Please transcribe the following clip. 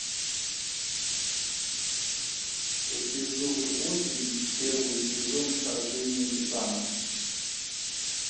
эпизод восемь первый сезон вторжение титанов